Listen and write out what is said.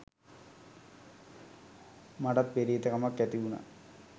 මටත් පෙරේත කමක් ඇතිවුනා